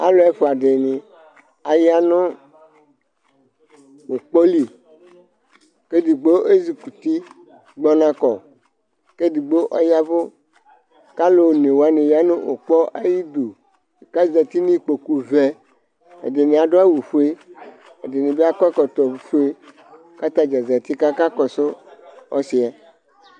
ɑluɛduɑdini ɑyɑnukpɔli kɛdigbo ɛzukuti gbonɑkɔ kɛdigbo ɔyɑvu kɑluonɛwɑni yɑnugbɔ ɑyidu kɑzɑti nikpokuvɛ ɛdiniɑduɑwufuɛ ɛdinibi ɑduɑwufuɛ ɛdinibi ɑkɔɛkɔtofuɛ kɑtɑdzɑ zɑti kɑkɑkɔsu ɔsiɛ